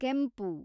ಕೆಂಪು